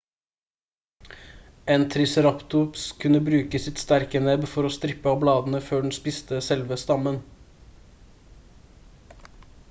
en triceratops kunne bruke sitt sterke nebb for å strippe av bladene før den spiste selve stammen